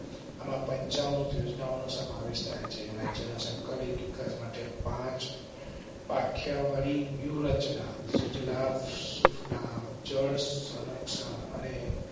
પંચામૃત યોજનાઓ નો સમાવેશ થાય છે. રાજ્ય ના સંકલિત વિકાસ માટે. ક્યા વાળી વ્યૂહરચના સુજલામ સુફલામ જળ સંરક્ષણ અને